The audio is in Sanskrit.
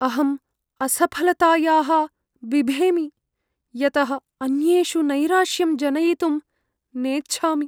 अहम् असफलतायाः बिभेमि, यतः अन्येषु नैराश्यं जनयितुं नेच्छामि।